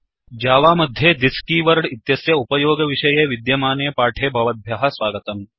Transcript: Java मध्ये thisदिस्कीवर्ड् इत्यस्य उपयोगविषये विद्यमाने पाठे भवद्भ्यः स्वागतम्